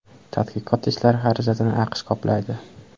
Tadqiqot ishlari xarajatini AQSh qoplaydi.